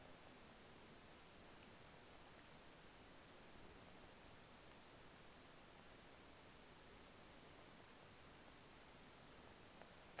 a ṱo ḓea phanḓa ha